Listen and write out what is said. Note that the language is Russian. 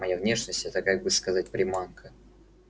моя внешность это как бы сказать приманка